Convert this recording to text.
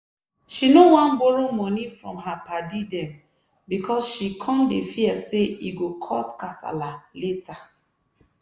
she no wan borrow money from her padi dem because she cum dey fear say e go cause kasala later.